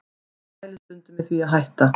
Ég pæli stundum í því að hætta